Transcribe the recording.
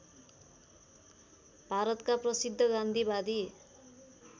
भारतका प्रसिद्ध गान्धीवादी